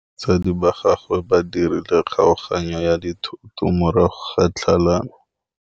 Batsadi ba gagwe ba dirile kgaoganyô ya dithoto morago ga tlhalanô.